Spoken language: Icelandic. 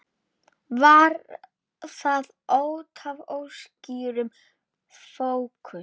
Var það útaf óskýrum fókus?